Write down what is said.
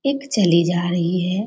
एक चली जा रही है।